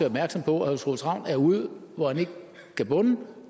opmærksom på at herre troels ravn er ude hvor han ikke kan bunde